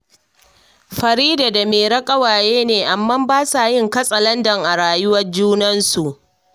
Farida da Mairo ƙawaye ne, amma ba sa yin katsalandar a rayuwar junansu